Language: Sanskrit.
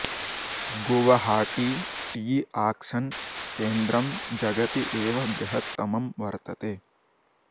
गुवहाटी टी आक्षन् केन्द्रम् जगति एव बृहत्तमं वर्तते